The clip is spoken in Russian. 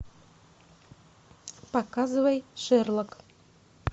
показывай шерлок